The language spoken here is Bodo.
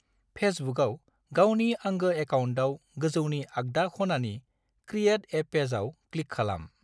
फेसबुकआव गावनि आंगो एकाउन्टआव गोजौनि आग्दा खनानि "क्रिएट ए पेजाव" क्लिक खालाम।